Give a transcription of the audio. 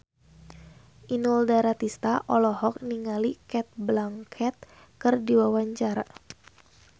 Inul Daratista olohok ningali Cate Blanchett keur diwawancara